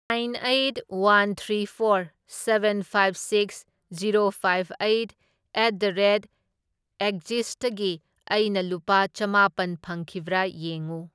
Nine eight, one three four, seven five six, zero five eight at the rate ꯑꯦꯛꯖꯤꯁꯇꯒꯤ ꯑꯩꯅ ꯂꯨꯄꯥ ꯆꯃꯥꯄꯟ ꯐꯪꯈꯤꯕ꯭ꯔꯥ ꯌꯦꯡꯎ꯫